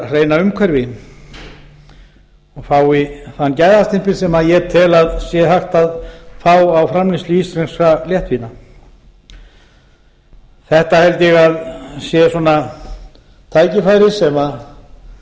hreina umhverfi og fái þann gæðastimpil sem ég tel að sé hægt að fá á framleiðslu íslenskra léttvína þetta held ég að sé tækifæri